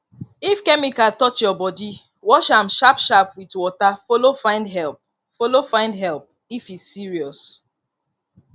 if chemical touch your body wash am sharp sharp with water follow find help follow find help if e serious